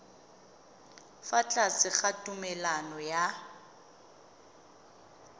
fa tlase ga tumalano ya